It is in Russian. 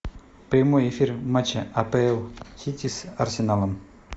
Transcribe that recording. прямой эфир матча апл сити с арсеналом